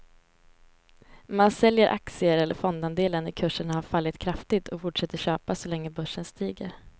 Man säljer aktier eller fondandelar när kurserna har fallit kraftigt och fortsätter köpa så länge börsen stiger.